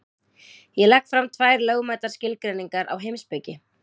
Ég legg fram tvær lögmætar skilgreiningar á heimspeki.